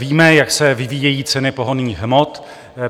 Víme, jak se vyvíjejí ceny pohonných hmot.